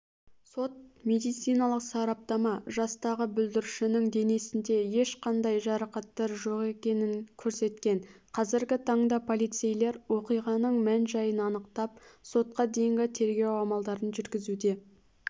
сот-медициналық сараптама жастағы бүлдіршіннің денесінде ешқандай жарақаттар жоқ екенін көрсеткен қазіргі таңда полицейлер оқиғаның мән-жайын анықтап сотқа дейінгі тергеу амалдарын жүргізуде